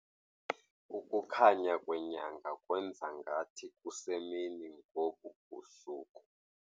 Ukukhanya kwenyanga kwenza ngathi kusemini ngobu busuku.